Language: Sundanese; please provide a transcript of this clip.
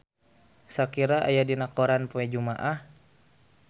Shakira aya dina koran poe Jumaah